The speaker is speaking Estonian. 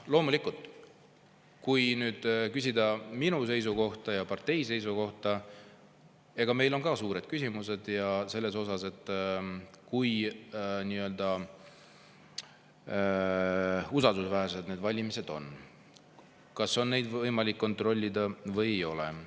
Loomulikult, kui küsida minu seisukohta ja partei seisukohta, siis meil on ka suured küsimused, kui usaldusväärsed need valimised on, kas on neid võimalik kontrollida või ei ole.